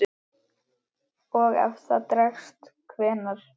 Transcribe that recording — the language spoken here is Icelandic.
Og ef það dregst. hvenær?